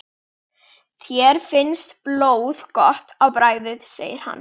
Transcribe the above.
Þér finnst blóð gott á bragðið segir hann.